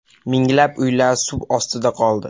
Minglab uylar suv ostida qoldi.